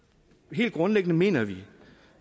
helt grundlæggende mener vi